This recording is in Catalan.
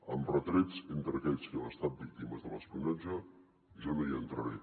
amb retrets entre aquells que hem estat víctimes de l’espionatge jo no hi entraré